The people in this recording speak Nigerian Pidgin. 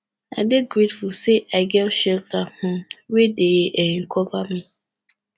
i dey grateful say i get shelter um wey dey um cover me